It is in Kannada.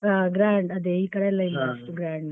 ಹಾ gra ~ ಅದೇ ಈ ಕಡೆಯಲ್ grand ಇಲ್ಲ grand .